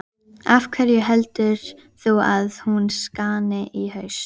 Af hverju heldur þú að hún skáni í haust?